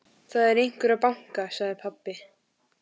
Það er einhver að banka, sagði pabbi.